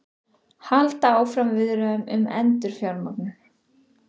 Halda áfram viðræðum um endurfjármögnun